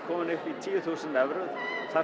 komin upp í tíu þúsund evrur það